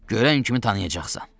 Görən kimi tanıyacaqsan.